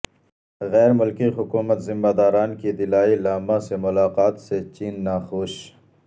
غیر ملکی حکومتی ذمہ داران کی دلائی لامہ سے ملاقات سے چین ناخوش